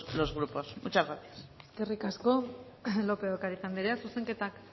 los grupos muchas gracias eskerrik asko lopez de ocariz andrea zuzenketak